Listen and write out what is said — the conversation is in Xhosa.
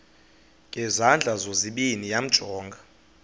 ngezandla zozibini yamjonga